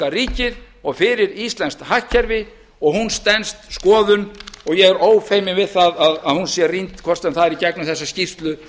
ríkið og fyrir íslenskt hagkerfi og hún stenst skoðun og ég er ófeiminn við það að hún sé rýnd hvort sem það er í gegnum þessa skýrslu